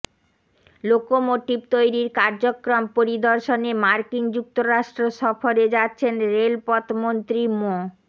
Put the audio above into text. locomotive তৈরির কার্যক্রম পরিদর্শনে মার্কিন যুক্তরাষ্ট্র সফরে যাচ্ছেন রেলপথ মন্ত্রী মো